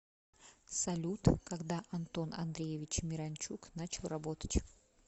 салют когда антон андреевич миранчук начал работать